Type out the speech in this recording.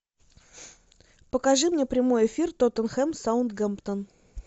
покажи мне прямой эфир тоттенхэм саутгемптон